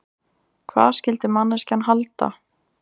Hvað skyldi manneskjan halda?